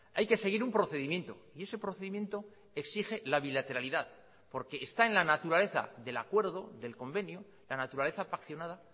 hay que seguir un procedimiento y ese procedimiento exige la bilateralidad porque está en la naturaleza del acuerdo del convenio la naturaleza paccionada